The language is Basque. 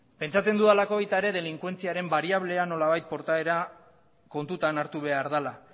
pentsatzen dudalako baita ere delinkuentziaren bariablea nolabait portaera kontutan hartu behar dela